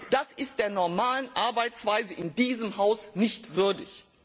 Das ist der normalen Arbeitsweise in diesem Haus nicht würdig.